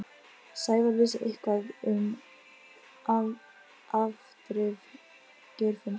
Sævar vissi eitthvað um afdrif Geirfinns.